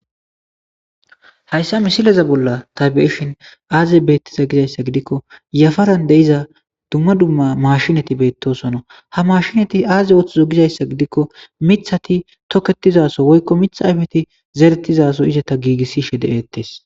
hayssa misileza bolla tabiyeshin aaze beettiza gizayssa gidikko yafaran deiza dumma dumma mashinati beettosono ha mashinati aaze ooththizo gizayssa gidikko mithati toketizaso woykko mitha ayfeti zeretizaso izeta giigissi she de7eettes